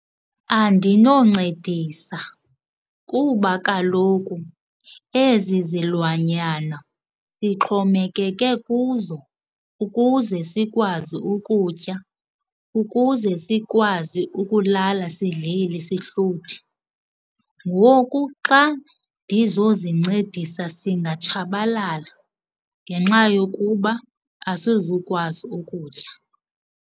Andinoncedisa kuba kaloku ezi zilwanyana sixhomekeke kuzo ukuze sikwazi ukutya, ukuze sikwazi ukulala sidlile sihluthi. Ngoku xa ndizozincedisa singatshabalala ngenxa yokuba asizukwazi ukutya.